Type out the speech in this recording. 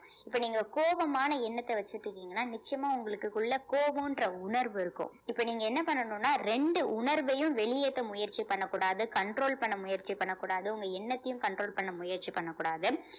இப்ப நீங்க கோபமான எண்ணத்தை வச்சுட்டிருங்கன்னா நிச்சயமா உங்களுக்கு உள்ள கோபம்ன்ற உணர்வு இருக்கும் இப்ப நீங்க என்ன பண்ணனும்னா ரெண்டு உணர்வையும் வெளியேத்த முயற்சி பண்ணக் கூடாது control பண்ண முயற்சி பண்ணக் கூடாது உங்க எண்ணத்தையும் control பண்ண முயற்சி பண்ணக் கூடாது